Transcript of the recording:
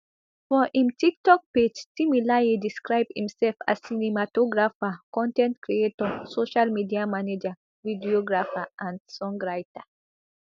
for im tiktok page timileyin describe imsef as cinematographer con ten t creator social media manager videographer and song writer